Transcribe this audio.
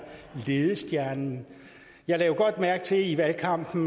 ledestjernen jeg lagde godt mærke til i valgkampen